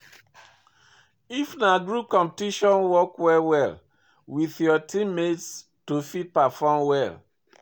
If na group competiton work well well with your team mates to fit perform well